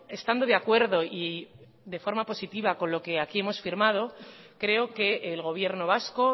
estando de acuerdo y de forma positiva con lo que aquí hemos firmado creo que el gobierno vasco